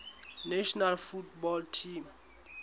national football team